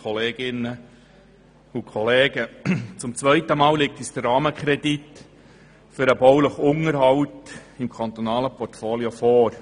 der BaK. Zum zweiten Mal liegt uns der Rahmenkredit für den baulichen Unterhalt im kantonalen Portfolio vor.